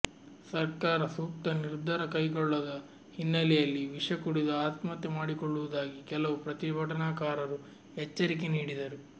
ಸರ್ಕಾರ ಸೂಕ್ತ ನಿರ್ಧಾರ ಕೈಗೊಳ್ಳದ ಹಿನ್ನೆಲೆಯಲ್ಲಿ ವಿಷ ಕುಡಿದು ಆತ್ಮಹತ್ಯೆ ಮಾಡಿಕೊಳ್ಳುವುದಾಗಿ ಕೆಲವು ಪ್ರತಿಭಟನಾಕಾರರು ಎಚ್ಚರಿಕೆ ನೀಡಿದರು